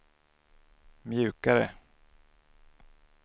mjukare